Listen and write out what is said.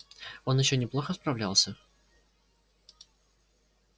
он ещё неплохо справлялся